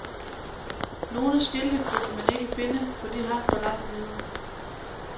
Nogle skilte kunne man ikke finde, for de hang for langt nede.